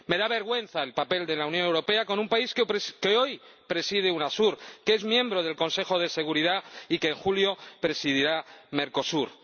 Me da vergüenza el papel de la Unión Europea con un país que hoy preside Unasur, que es miembro del Consejo de Seguridad y que en julio presidirá Mercosur.